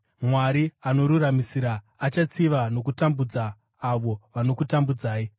Mwari anoruramisira: Achatsiva nokutambudza avo vanokutambudzai,